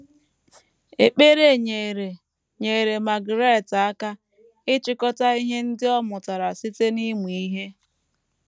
Ekpere nyeere nyeere Margarette aka ịchịkọta ihe ndị ọ mụtara site n’ịmụ ihe.